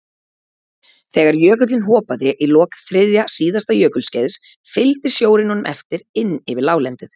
Þegar jökullinn hopaði í lok þriðja síðasta jökulskeiðs fylgdi sjórinn honum eftir inn yfir láglendið.